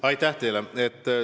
Aitäh teile!